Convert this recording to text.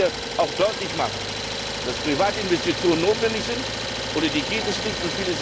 Dabei müssen wir auch deutlich machen, dass Privatinvestitionen notwendig sind ohne die geht es nicht.